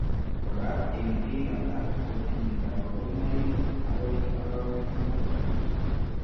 Koraa eng' biik alak kotinye kaborunoik akoi arawek loo